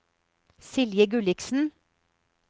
Silje Gulliksen